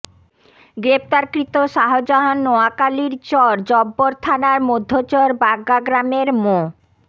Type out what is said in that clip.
গ্রেপ্তারকৃত শাহজাহান নোয়াখালীর চর জব্বর থানার মধ্যচর বাগ্যা গ্রামের মো